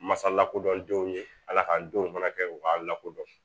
Masa lakodɔn denw ye ala k'an denw fana kɛ u k'an lakodɔn